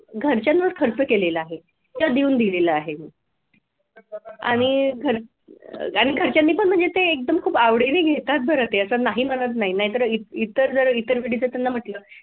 घरच्यांवर खर्च केलेला आहे किंवा देऊन दिलेला आहे आणि घर आणि घरच्यांनी पण म्हणजे ते खूप आवडीने घेतात बर ते असं नाही म्हणत नाही नाहीतर इतर जर इतर